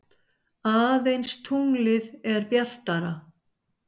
Aðeins tunglið er bjartara.